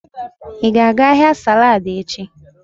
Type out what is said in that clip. Ị ga-aga ahịa saladi echi?